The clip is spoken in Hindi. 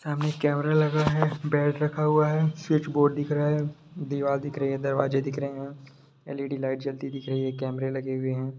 सामने कैमरा लगा है बेड रखा हुआ है स्विच बोर्ड दिख रहा है दीवार दिख रही है दरवाजे दिख रहे हैं एल.ई.डी. लाइट जलती दिख रही है कैमरे लगे हुए हैं।